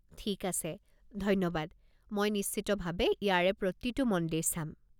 ঠিক আছে, ধন্যবাদ, মই নিশ্চিতভাৱে ইয়াৰে প্ৰতিটো মন্দিৰ চাম।